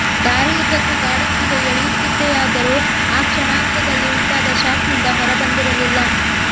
ದಾರಿಯುದ್ದಕ್ಕೂ ಗಾಡಿ ಮುಂದೆ ಎಳೆಯುತ್ತಿದೆಯಾದರೂ ಆ ಕ್ಷಣಾರ್ಧದಲ್ಲಿ ಉಂಟಾದ ಶಾಕ್ ನಿಂದ ಹೊರಬಂದಿರಲಿಲ್ಲ